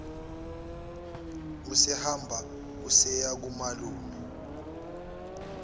usehamba useya kumalume